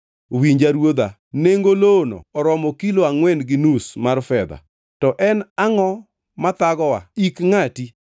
“Winja ruodha; nengo lowono oromo kilo angʼwen gi nus mar fedha. To en angʼo mathagowa; ik ngʼati.”